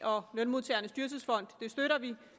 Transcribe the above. og lønmodtagernes dyrtidsfond støtter vi